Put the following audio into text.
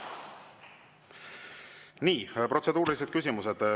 Nii, protseduurilised küsimused.